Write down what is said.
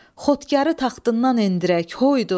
Xudkarı taxtından endirək hoydu!